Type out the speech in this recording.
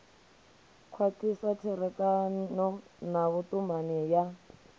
khwathisa tserekano na vhutumani ya